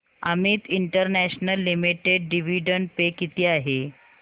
Amit international limited dividend pay किती आहे